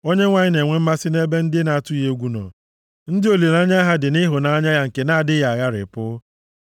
Onyenwe anyị na-enwe mmasị nʼebe ndị na-atụ egwu ya nọ, ndị olileanya ha dị na ịhụnanya ya nke na-adịghị agharịpụ.